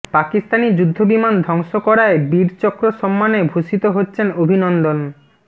পাকিস্তানি যুদ্ধবিমান ধ্বংস করায় বীরচক্র সম্মানে ভূষিত হচ্ছেন অভিনন্দন